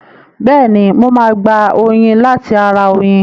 Bẹ́ẹ̀ni, mo máa gba oyin láti ara oyin.